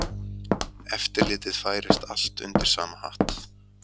Eftirlitið færist allt undir sama hatt